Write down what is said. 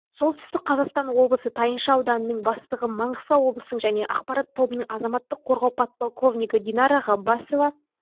солтүстік қазақстан облысы тайынша ауданының бастығы маңғыстау облысының және ақпарат тобының азаматтық қорғау подполковнигі динара ғаббасова